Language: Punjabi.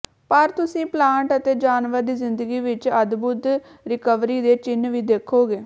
ਪਰ ਤੁਸੀਂ ਪਲਾਂਟ ਅਤੇ ਜਾਨਵਰ ਦੀ ਜ਼ਿੰਦਗੀ ਵਿਚ ਅਦਭੁੱਤ ਰਿਕਵਰੀ ਦੇ ਚਿੰਨ੍ਹ ਵੀ ਦੇਖੋਗੇ